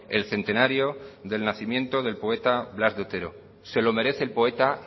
el centenario del nacimiento del poeta blas de otero se lo merece el poeta